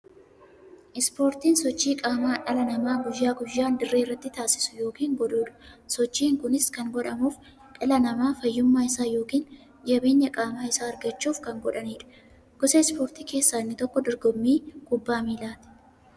Ispoortiin sochii qaamaa dhalli namaa guyyaa guyyaan dirree irratti taasisu yookiin godhuudha. Sochiin kunis kan godhamuuf, dhalli namaa fayyummaa isaa yookiin jabeenya qaama isaa argachuuf kan godhaniidha. Gosa ispoortii keessaa inni tokko dorgommii kubbaa milaati.